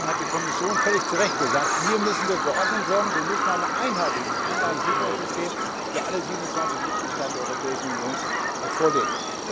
Deswegen hat die Kommission völlig zu Recht gesagt, hier müssen wir für Ordnung sorgen, wir müssen ein einheitliches Einlagensicherungssystem für alle 27 Mitgliedstaaten der Europäischen Union vorlegen.